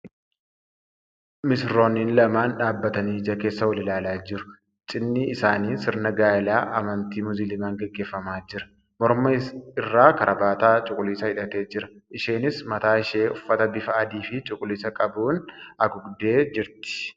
Misirroonnin lamaan dhaabbatanii ija keessa wal ilaalaa jiru. Cidhni isaanii sirna gaa'ila amantii Musliimaan gaggeeffamaa jira. Morma irraa karabaataa cuquliisa hidhatee jira. Isheenis mataa ishee uffata bifa adii fi cuquliisa qabuun haguugdee jirti.